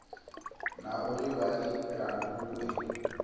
na uri vha i laule